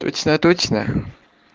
точно-точно